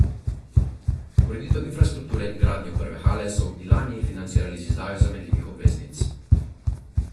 Ureditev infrastrukture in gradnjo prve hale so v Ilani financirali z izdajo zamenljivih obveznic.